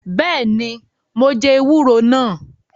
Beeni, mo jẹ ewúro nàá